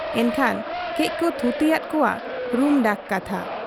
ᱮᱱᱠᱷᱟᱱ ᱠᱟᱹᱡ ᱠᱚ ᱛᱷᱩᱛᱤᱭᱟᱫ ᱠᱚᱣᱟ ᱨᱩᱢᱰᱟᱠ ᱠᱟᱛᱷᱟ ᱾